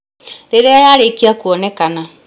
Rĩrĩa yarĩkia kuonekana